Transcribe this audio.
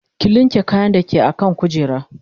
ki linke kayan da ke akan kujera